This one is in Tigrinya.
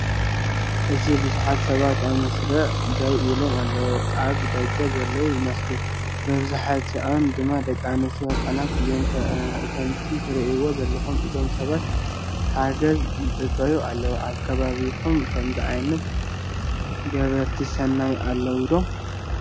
ኣብዚ ብዙሓት ሰባት ኣብ መስርዕ ደው ኢሎም ኣለዉ። ኣብ ደገ ዘለዉ ይመስሉ፡ መብዛሕትአን ድማ ደቂ ኣንስትዮን ህጻናትን እየን። ከምቲ ትርእይዎ ዘለኹም እዞም ሰባት ሓገዝ ይጽበዩ ኣለዉ። ኣብ ከባቢኩም ከምዝ ዓይነት ገበርቲ ሰናይ ኣለው ዶ?